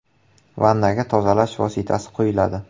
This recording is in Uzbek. Vannaga tozalash vositasi quyiladi.